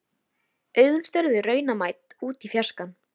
Augun störðu raunamædd út í fjarskann.